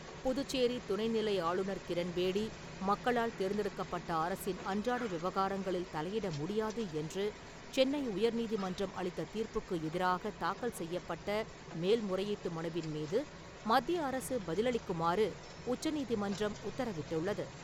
புதுச்சேரி துணைநிலை ஆளுநர் கிரண்பேடி, மக்களால் தேர்ந்தெடுக்கப்பட்ட அரசின் அன்றாட விவகாரங்களில் தலையிட முடியாது என்று சென்னை உயர்நீதிமன்றம் அளித்த தீர்ப்புக்கு எதிராக தாக்கல் செய்யப்பட்ட மேல் முறையீட்டு மனுவின் மீது மத்திய அரசு பதிலளிக்குமாறு உச்சநீதிமன்றம் உத்தரவிட்டுள்ளது.